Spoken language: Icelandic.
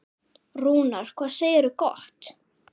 Rúnar, hvað segirðu gott?